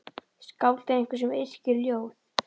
Skáld er einhver sem yrkir ljóð.